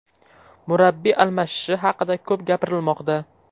Murabbiy almashishi haqida ko‘p gapirilmoqda.